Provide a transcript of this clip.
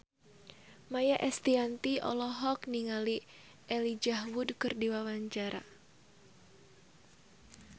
Maia Estianty olohok ningali Elijah Wood keur diwawancara